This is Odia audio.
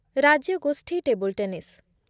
ରାଜ୍ୟଗୋଷ୍ଠୀ ଟେବୁଲ ଟେନିସ୍